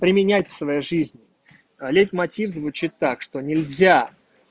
применять в своей жизни лейтмотив звучит так что нельзя